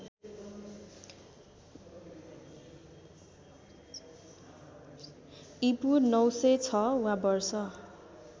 ईपू ९०६ वा वर्ष